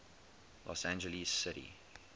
los angeles city